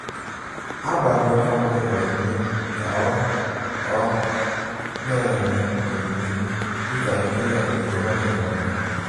A gbara onye ọbụla ùmè ka ó ó na-enye onyinye dịka íké ya na ègò ọ̀ na-enweta.